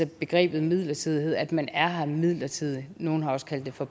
begrebet midlertidighed altså at man er her midlertidigt nogle har også kaldt det for